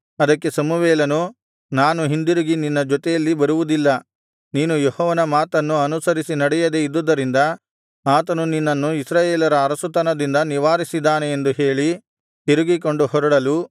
ಅದಕ್ಕೆ ಸಮುವೇಲನು ನಾನು ಹಿಂದಿರುಗಿ ನಿನ್ನ ಜೊತೆಯಲ್ಲಿ ಬರುವುದಿಲ್ಲ ನೀನು ಯೆಹೋವನ ಮಾತನ್ನು ಅನುಸರಿಸಿ ನಡೆಯದೆ ಇದ್ದುದರಿಂದ ಆತನು ನಿನ್ನನ್ನು ಇಸ್ರಾಯೇಲರ ಅರಸುತನದಿಂದ ನಿವಾರಿಸಿದ್ದಾನೆ ಎಂದು ಹೇಳಿ ತಿರುಗಿಕೊಂಡು ಹೊರಡಲು